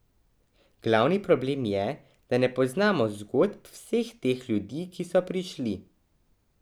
Glavni problem je, da ne poznamo zgodb vseh teh ljudi, ki so prišli.